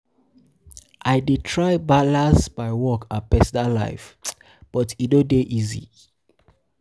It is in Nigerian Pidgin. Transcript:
I dey try balance my work and personal life, but e no dey easy.